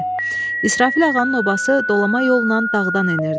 İsrafil ağanın obası dolama yolla dağdan enirdi.